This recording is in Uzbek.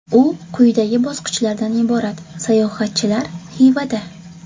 U quyidagi bosqichlardan iborat : Sayohatchilar Xivada.